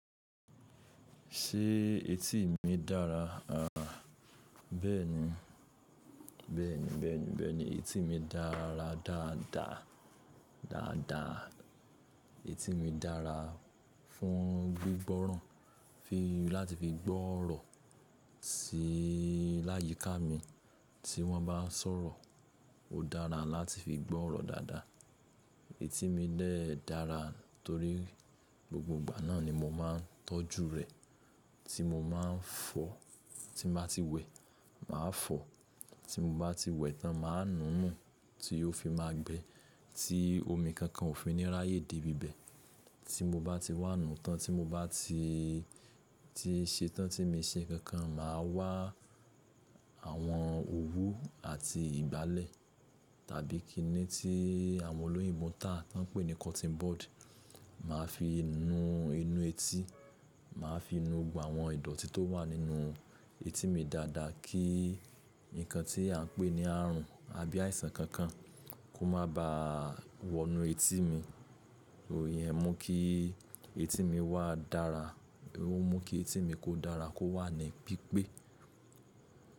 Ṣé etí mi dára? Àá bẹ́ẹ̀ni, bẹ́ẹ̀ni, bẹ́ẹ̀ni, bẹ́ẹ̀ni etí mi dára dáadáa, dáadáa. Etí mi dára fún gbígbọ́ràn, fi láti fi gbọ́ ọ̀rọ̀ tí láyíká mi tí wọ́n bá sọ̀rọ̀, ó dára láti fi gbọ́ ọ̀rọ̀ dáadáa. Etí mi dẹ̀ dára torí gbogbo ìgbà náà ni mo máa ń tọ́jú rẹ̀, tí mo máa ń fọ, tí mo bá ti wẹ̀, màá fọ, tí mo bá ti wẹ̀ tán màá nùnu tí ó fi máa gbẹ, tí omi kankan ò fi ní ráyè dé ibibẹ̀. Tí mo bá ti wá nù tán, tí mo bá ti, ti ṣe tán tí mi ṣe kankan màá wá àwọn òwú àti ìgbálẹ̀ tàbí kíni tí àwọn olóyìnbo tà tí wọ́n ń pè ní cotton bud, màá fi nu inú etí, màá fi nu gbogbo àwọn ìdọ̀tí tó wà nínú etí mi dáadáa kí nǹkan tí à ń pè ní àrùn àbí àìsàn kankan kó má ba wọ inú etí mi. Iyẹn mú kí etí mi wá dára, ó mú kí etí mi kó dára kó wà ní pípé.